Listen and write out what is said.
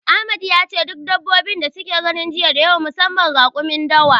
Ahmad yace duk dabbobi da suka gani jiya nada kyau musamman raƙumin dawa.